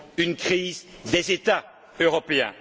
une crise des États européens.